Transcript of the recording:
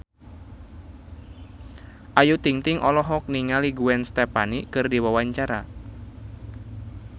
Ayu Ting-ting olohok ningali Gwen Stefani keur diwawancara